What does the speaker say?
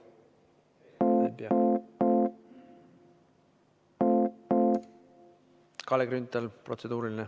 Kalle Grünthal, protseduuriline.